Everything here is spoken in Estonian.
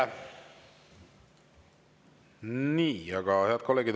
Head kolleegid!